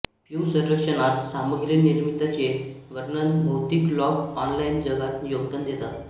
प्यू सर्वेक्षणात सामग्री निर्मितीचे वर्णन भौतिक लोक ऑनलाइन जगात योगदान देतात